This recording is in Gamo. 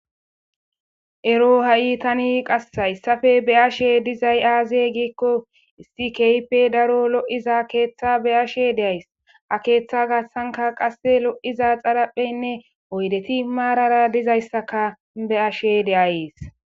Erro tani qassi hayissape beyashe dizayi aze gikko issi kehipe loyida ketha beyashe dayisi. Ha ketha gathanikka loyida xaripheyinne oyideti marara dizayisaka beashe deyasi.